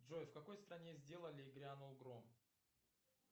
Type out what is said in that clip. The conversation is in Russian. джой в какой стране сделали и грянул гром